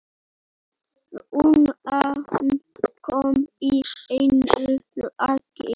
Runan kom í einu lagi.